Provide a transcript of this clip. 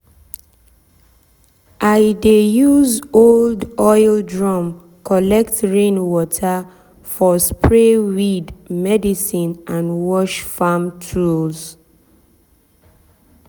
i dey use old oil drum collect rain water for spray weed medicine and wash farm tools.